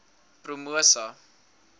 promosa